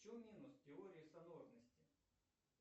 в чем минус теории санорности